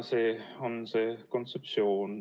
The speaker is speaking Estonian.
See on see kontseptsioon.